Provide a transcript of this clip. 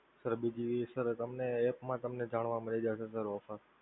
sir બીજી sir app માં તમને જાણવા મળી જશે sir offer